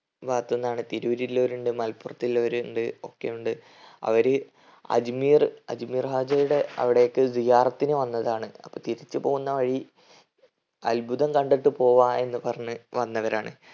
ഭാഗത്തിന്നാണ്. തിരൂരിൽലോറിണ്ട്. മലപ്പൊറത്തില്ലവരുണ്ട് ഒക്കെയുണ്ട്. അവര് അജ്‌മീർ അജ്‌മീർ ഹാജയുടെ അവിടേക്ക് സിയാറത്തിന്ന് വന്നതാണ്. അപ്പൊ തിരിച്ച് പോന്ന വഴി അത്ഭുതം കണ്ടിട്ട് പോവാ എന്ന് പറഞ്ഞ് വന്നവരാണ്.